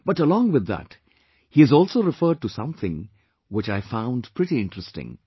But along with this, he has also referred to something which I found pretty interesting